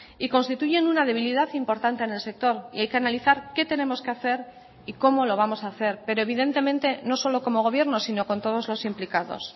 y constituyen una debilidad importante en el sector y hay que analizar qué tenemos que hacer y cómo lo vamos a hacer pero evidentemente no solo como gobierno sino con todos los implicados